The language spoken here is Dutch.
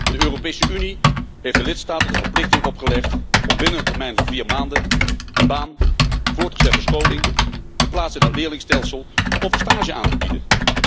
De Europese Unie heeft de lidstaten de verplichting opgelegd om binnen een termijn van vier maanden een baan, voortgezette scholing, een plaats in het leerlingstelsel of een stage aan te bieden.